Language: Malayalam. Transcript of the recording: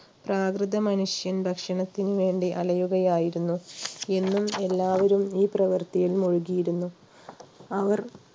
പ്രാകൃത മനുഷ്യൻ ഭക്ഷണത്തിനുവേണ്ടി അലയുകയായിരുന്നു എന്നും എല്ലാവരും ഈ പ്രവർത്തിയിൽ മുഴുകിയിരുന്നു അവർ